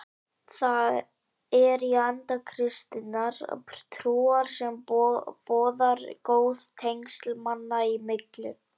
Það er í anda kristinnar trúar sem boðar góð tengsl manna í millum.